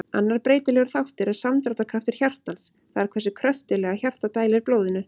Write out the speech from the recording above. Annar breytilegur þáttur er samdráttarkraftur hjartans, það er hversu kröftuglega hjartað dælir blóðinu.